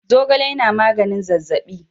Zogale yana magnin zazzabi.